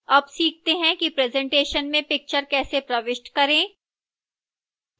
अब सीखते हैं कि presentation में picture कैसे प्रविष्ट करें